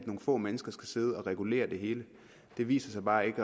nogle få mennesker skal sidde og regulere det hele det viser sig bare ikke